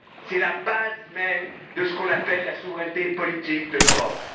C'est la base même de ce qu'on appelle la souveraineté politique de l'Europe.